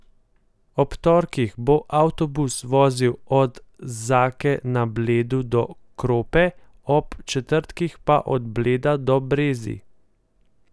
Ob torkih bo avtobus vozil od Zake na Bledu do Krope, ob četrtkih pa od Bleda do Brezij.